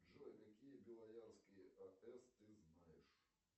джой какие белоярские аэс ты знаешь